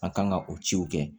An kan ka o ciw kɛ